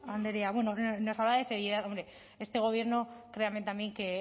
andrea bueno nos hablaba de seriedad hombre este gobierno créame también que